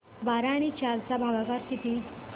बारा आणि चार चा भागाकर किती